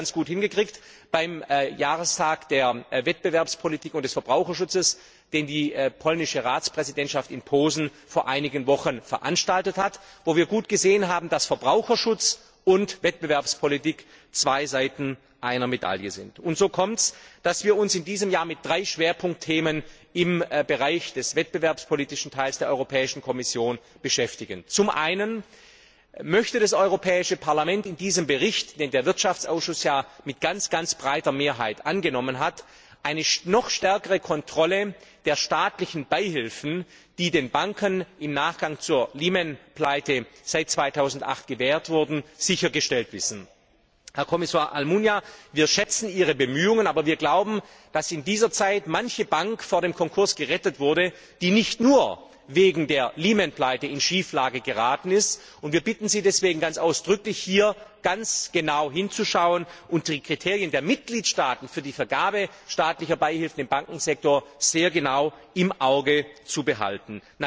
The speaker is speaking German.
Wir haben das ganz gut hingekriegt beim Jahrestag der Wettbewerbspolitik und des Verbraucherschutzes, den die polnische Ratspräsidentschaft in Posen vor einigen Wochen veranstaltet hat, wo wir gut gesehen haben, dass Verbraucherschutz und Wettbewerbspolitik zwei Seiten einer Medaille sind. So kommt es, dass wir uns in diesem Jahr mit drei Schwerpunktthemen im Bereich des wettbewerbspolitischen Teils der Europäischen Kommission beschäftigen. Zum einen möchte das Europäische Parlament in diesem Bericht, den der Ausschuss für Wirtschaft und Währung ja mit sehr breiter Mehrheit angenommen hat, eine noch stärkere Kontrolle der staatlichen Beihilfen, die den Banken im Nachgang zur Lehman Pleite seit 2008 gewährt wurden, sichergestellt wissen. Herr Kommissar Almunia, wir schätzen Ihre Bemühungen, aber wir glauben, dass in dieser Zeit manche Bank vor dem Konkurs gerettet wurde, die nicht nur wegen der Lehman Pleite in Schieflage geraten ist, und wir bitten Sie deswegen ganz ausdrücklich, hier ganz genau hinzuschauen und die Kriterien der Mitgliedstaaten für die Vergabe staatlicher Beihilfen im Bankensektor sehr genau im Auge zu behalten.